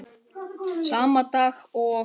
Sama dag og